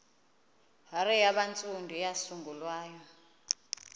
hare yabantsundu eyasungulwa